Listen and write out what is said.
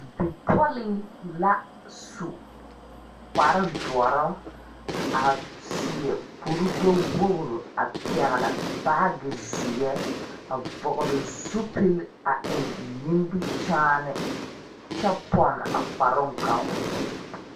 Bipɔlee la su kpare doɔre a seɛ kure gbɛwogre a pɛgle baagi zeɛ a vɔgle zupile a eŋ nimbi kyaane kyɛ pɛn a kparoo kaŋ o nuŋ.